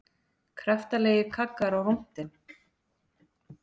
Kraftalegir kaggar á rúntinn